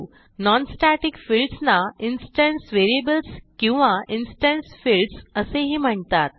non static fields ना instance variables किंवा instance fields असेही म्हणतात